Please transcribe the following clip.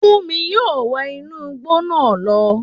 Fúnmi yóò wọ inú igbó náà lọ